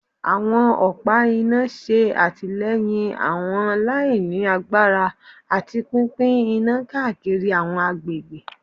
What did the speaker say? Awọn ọpa ina ṣe atilẹyin awọn laini agbara ati pinpin ina kaakiri awọn agbegbe